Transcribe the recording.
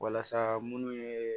Walasa munnu ye